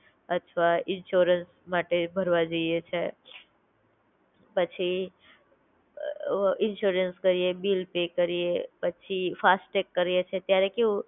અથવા ઇન્શ્યોરન્સ માટે ભરવા જઈએ છીએ પછી ઇન્શ્યોરન્સ કરીએ, બિલ પે કરીએ પછી ફાસ્ટેગ કરીએ છીએ ત્યારે કેવું